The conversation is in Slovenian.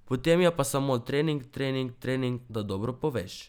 Potem je pa samo trening, trening, trening da dobro poveš.